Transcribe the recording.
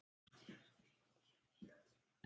Mamma var hætt að vinna.